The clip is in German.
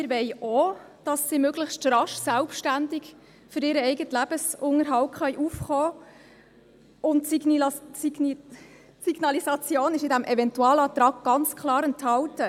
Wir wollen auch, dass sie möglichst rasch selbstständig für ihren eigenen Lebensunterhalt aufkommen können, und die Signalisation ist in diesem Eventualantrag ganz klar enthalten.